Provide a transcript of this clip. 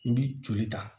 N bi joli ta